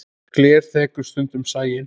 Gler þekur stundum sæinn.